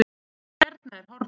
Hérna á hornið.